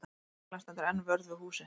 Lögreglan stendur enn vörð við húsið